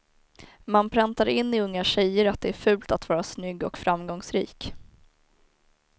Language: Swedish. Man präntar in i unga tjejer att det är fult att vara snygg och framgångsrik.